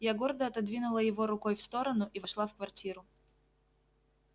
я гордо отодвинула его рукой в сторону и вошла в квартиру